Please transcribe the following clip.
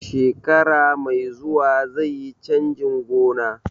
Shekara mai zuwa zaiyi canjin gona